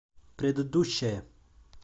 предыдущая